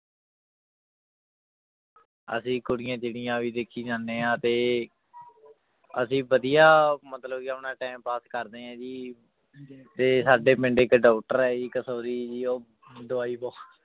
ਅਸੀਂ ਕੁੜੀਆਂ ਚਿੱੜੀਆਂ ਵੀ ਦੇਖੀ ਜਾਂਦੇ ਹਾਂ ਤੇ ਅਸੀਂ ਵਧੀਆ ਮਤਲਬ ਕਿ ਆਪਣਾ time pass ਕਰਦੇ ਹਾਂ ਜੀ ਤੇ ਸਾਡੇ ਪਿੰਡ ਇੱਕ doctor ਹੈ ਜੀ ਕਸੋਰੀ ਜੀ ਉਹ ਦਵਾਈ ਬਹੁ~